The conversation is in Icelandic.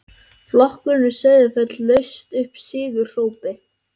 Flokkurinn við Sauðafell laust upp sigurópi.